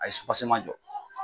A ye jɔ.